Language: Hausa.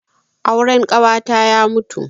Auren ƙawata ya mutu.